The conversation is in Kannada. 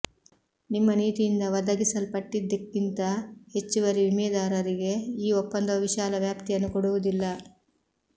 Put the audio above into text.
ನಿಮ್ಮ ನೀತಿಯಿಂದ ಒದಗಿಸಲ್ಪಟ್ಟಿದ್ದಕ್ಕಿಂತ ಹೆಚ್ಚುವರಿ ವಿಮೆದಾರರಿಗೆ ಈ ಒಪ್ಪಂದವು ವಿಶಾಲ ವ್ಯಾಪ್ತಿಯನ್ನು ಕೊಡುವುದಿಲ್ಲ